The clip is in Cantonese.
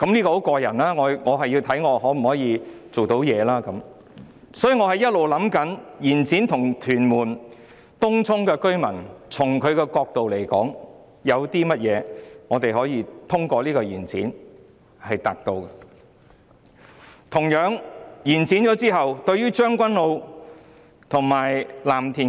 我一直在思考，我們可以透過延展為屯門和東涌居民達到甚麼好處呢？同樣地，延展對於將軍澳和藍田的居民......